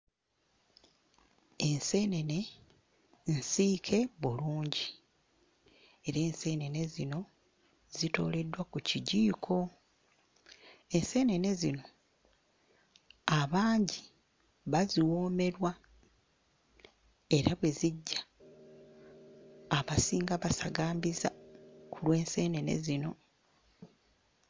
Enseenene nsiike bulungi era enseenene zino zitooleddwa ku kijiiko. Enseenene zino abangi baziwoomerwa era bwe zijja, abasinga basagambiza ku lw'enseenene zino.